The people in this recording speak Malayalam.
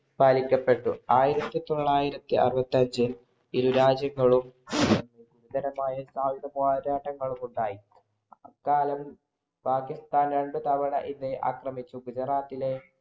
പാലിക്കപ്പെട്ടു. ആയിരത്തി തൊള്ളായിരത്തി അറുപത്തി അഞ്ചില്‍ ഇരുരാജ്യങ്ങളും സായുധ പോരാട്ടങ്ങളുമുണ്ടായി. അക്കാലം പാകിസ്ഥാൻ രണ്ടു തവണ ഇന്ത്യയെ ആക്രമിച്ചു. ഗുജറാത്തിലെ